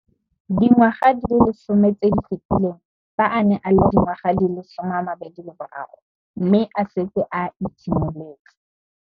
Dingwaga di le 10 tse di fetileng, fa a ne a le dingwaga di le 23 mme a setse a itshimoletse